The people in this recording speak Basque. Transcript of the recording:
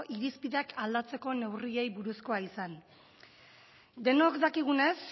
irizpideak aldatzeko neurriei buruzkoa izan denok dakigunez